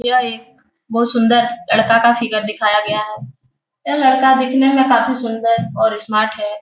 यह एक बहुत सुन्दर लड़का का फिगर दिखाया गया है यह लड़का दिखने में काफ़ी सुन्दर और स्मार्ट है।